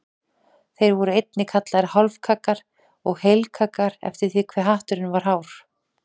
Þeir voru einnig kallaðir hálfkaggar og heilkaggar eftir því hve hatturinn var hár.